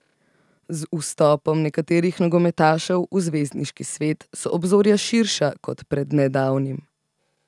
Z vstopom nekaterih nogometašev v zvezdniški svet so obzorja širša kot pred nedavnim.